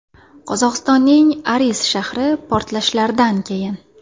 Qozog‘istonning Aris shahri portlashlardan keyin.